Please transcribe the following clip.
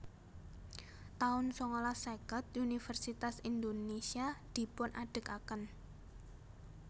taun sangalas seket Univèrsitas Indonésia dipunadegaken